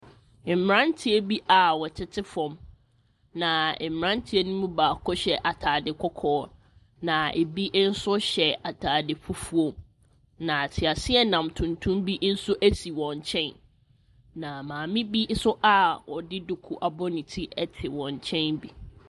Mmeranteɛ bi a wɔtete fam. Naa mmeranteɛ no baako hyɛ ataade kɔkɔɔ na ɛbi nso hyɛ ataade fufuo na teaseɛnam tuntum bi nso ɛsi wɔn nkyɛn na maame bi nso a ɔde duku abɔ ne ti ɛte wɔn nkyɛn bi.